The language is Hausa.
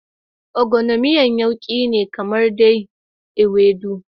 Ogbono miyan yauki ne kamar dai Ewedu.